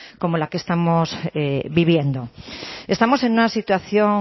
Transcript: como la que estamos viviendo estamos en una situación